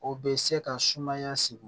O bɛ se ka sumaya sigi